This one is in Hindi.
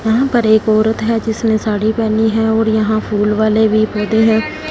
वहाँ पर एक औरत है जिसने साड़ी पहनी है और यहां फूल वाले भी होते हैं।